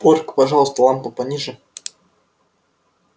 порк пожалуйста лампу пониже